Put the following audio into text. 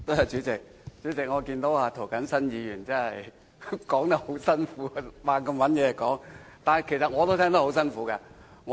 主席，我發現涂謹申議員發言有困難，要不斷找話說，但其實我也聽得很辛苦。